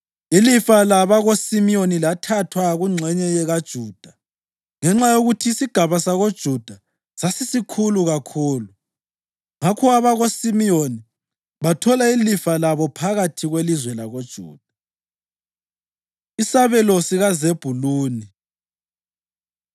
Ilifa labakoSimiyoni lathathwa kungxenye kaJuda ngenxa yokuthi isigaba sakoJuda sasisikhulu kakhulu. Ngakho abakoSimiyoni bathola ilifa labo phakathi kwelizwe lakoJuda. Isabelo SikaZebhuluni